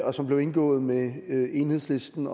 og som blev indgået med enhedslisten